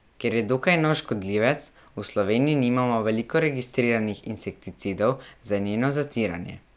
Ker je dokaj nov škodljivec, v Sloveniji nimamo veliko registriranih insekticidov za njeno zatiranje.